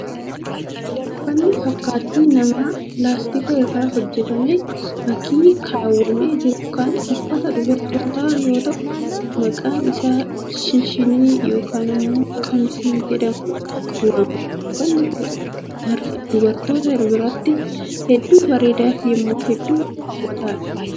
Uffanni fakkaattii namaa pilaastika irraa hojjatame keessatti kaawwamee jiru kun uffata dubartootaa yoo ta'u, maqaan isaa shinshinii yokin immoo 'qamisii' jedhamuun waamaam. Uffanni kun, dubartoota irraa hedduu bareeda yokin immoo hedduu haw'ataa dha.